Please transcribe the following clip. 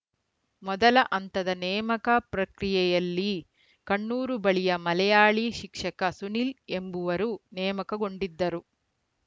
ಮೊದಲ ಹಂತದ ನೇಮಕ ಪ್ರಕ್ರಿಯೆಯಲ್ಲಿ ಕಣ್ಣೂರು ಬಳಿಯ ಮಲಯಾಳಿ ಶಿಕ್ಷಕ ಸುನಿಲ್‌ ಎಂಬುವರು ನೇಮಕಗೊಂಡಿದ್ದರು